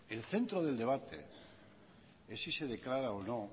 el centro del debate es si se declara o no